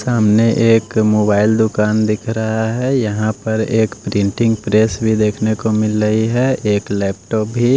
सामने एक मोबाइल दुकान दिख रहा है यहां पर एक प्रिंटिंग प्रेस भी देखने को मिल रही है एक लैपटॉप भी--